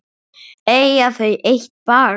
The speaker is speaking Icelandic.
Eiga þau eitt barn.